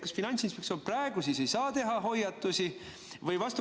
Kas Finantsinspektsioon praegu siis ei saa teha hoiatusi?